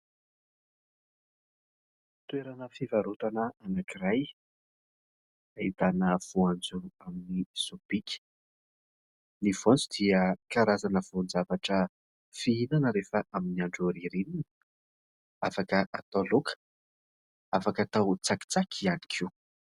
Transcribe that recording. Toerana fivarotana anankiray, ahitana voanjo amin'ny sobika; ny voanjo dia karazana voan-javatra fihinana rehefa amin'ny andro ririnina, afaka atao laoka, afaka atao tsakitsaky ihany koa.